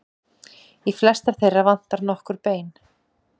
Í flestar þeirra vantar nokkur bein.